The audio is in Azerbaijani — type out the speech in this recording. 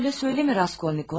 Elə demə, Raskolnikov.